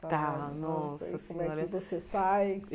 Tá nossa senhora Como é que você sai?